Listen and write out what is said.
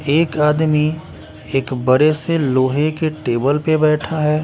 एक आदमी एक बड़े से लोहे के टेबल पर बैठा हैं।